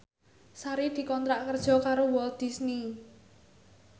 Sari dikontrak kerja karo Walt Disney